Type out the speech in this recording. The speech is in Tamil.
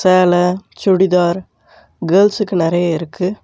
சேல சுடிதார் கேர்ள்ஸ்ஸுக்கு நெறைய இருக்கு.